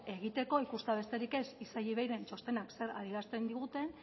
egiteko ikustea besterik ez isei iveiren txostena zer adierazten diguten